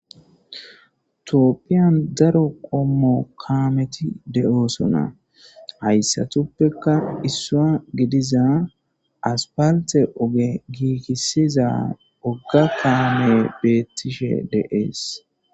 Tophiyan daro Qomo kamet de'osona haysatupeka issuwa gidiza asapalte oge gigisiza woga kamey betishe Des.